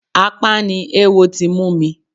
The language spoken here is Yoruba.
Apá ni ewo ti mú mi.